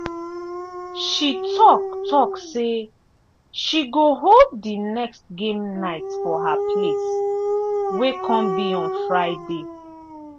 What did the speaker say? she talk talk say she go hold the next game night for her place wey come be on friday